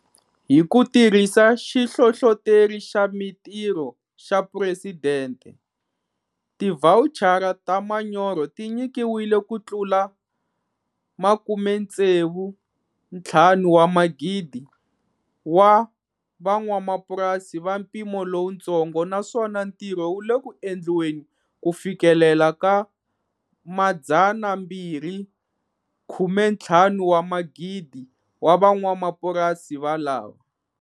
Hi ku tirhisa Xihlohloteri xa Mitirho xa Phuresidente, tivhawuchara ta manyoro ti nyikiwile ku tlula 65,000 wa van'wamapurasi va mpimo lowutsongo, naswona ntirho wu le ku endliweni ku fikelela 250,000 wa van'wamapurasi valava.